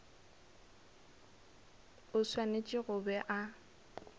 o swanetše go be a